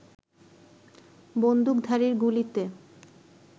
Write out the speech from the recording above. বন্দুকধারীর গুলিতে